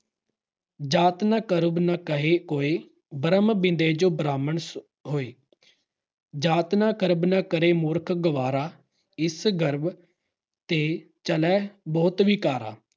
ਜਾਤਿ ਕਾ ਗਰਬੁ ਨ ਕਰੀਅਹੁ ਕੋਈ ॥ ਬ੍ਰਹਮੁ ਬਿੰਦੇ ਸੋ ਬ੍ਰਾਹਮਣੁ ਹੋਈ ॥ ਜਾਤਿ ਕਾ ਗਰਬੁ ਨ ਕਰਿ ਮੂਰਖ ਗਵਾਰਾ ॥ ਇਸੁ ਗਰਬ ਤੇ ਚਲਹਿ ਬਹੁਤੁ ਵਿਕਾਰਾ ॥